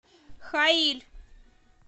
хаиль